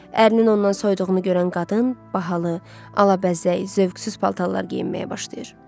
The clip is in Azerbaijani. Ərinin ondan soyuduğunu görən qadın bahalı, alabəzək, zövqsüz paltarlar geyinməyə başlayır.